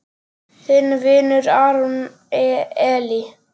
Þinn vinur, Aron Elí.